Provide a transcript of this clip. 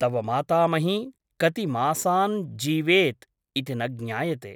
तव मातामही कति मासान् जीवेत् इति न ज्ञायते ।